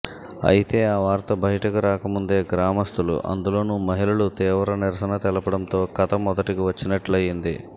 అయితే ఆ వార్త బయిటకు రాకముందే గ్రామస్తులు అందులోనూ మహిళలు తీవ్ర నిరసన తెల్పడంతో కథ మొదటికి వచ్చినట్టయింది